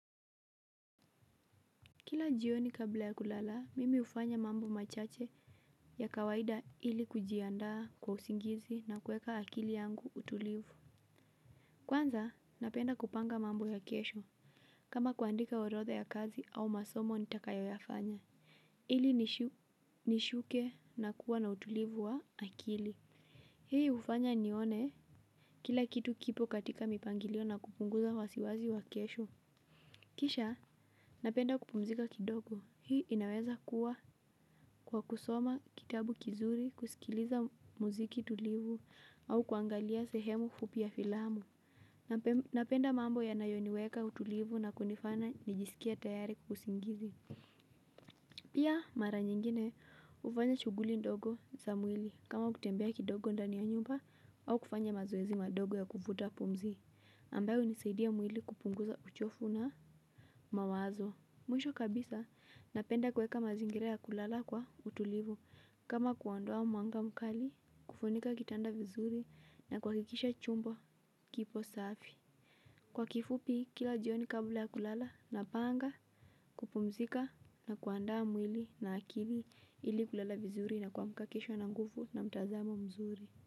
Kila jioni kabla ya kulalaa, mimi ufanya mambo machache ya kawaida ili kujiandaa kwa usingizi na kueka akili yangu utulivu. Kwanza, napenda kupanga mambo ya kesho. Kama kuandika orotha ya kazi au masomo nitakayo yafanya. Ili nishuke na kuwa na utulivu wa akili. Hii ufanya nione? Kila kitu kipo katika mipangilio na kupunguza wasiwazi wa kesho. Kisha, napenda kupumzika kidogo. Hii inaweza kuwa. Kwa kusoma kitabu kizuri, kusikiliza muziki tulivu au kuangalia sehemu kupia filamu. Napenda mambo yanayoniweka utulivu na kunifanya nijisikie tayari kusingizi. Pia mara nyingine ufanya shuguli ndogo za mwili. Kama kutembea kidogo ndani ya nyumba au kufanya mazoezi madogo ya kufuta pumzi ambao unisaidia mwili kupunguza uchofu na mawazo. Mwisho kabisa napenda kweka mazingira ya kulala kwa utulivu. Kama kuondua mwanga mkali, kufunika kitanda vizuri na kwakikisha chumbo kipo safi. Kwa kifupi, kila jioni kabla ya kulala na panga, kupumzika na kuandaa mwili na akili ili kulala vizuri na kwamka kesho na ngufu na mtazamo mzuri.